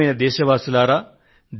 ప్రియమైన నా దేశ వాసులారా